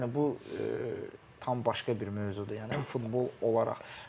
Yəni bu tam başqa bir mövzudur, yəni futbol olaraq.